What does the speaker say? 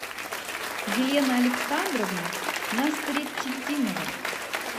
елена александровна насретдинова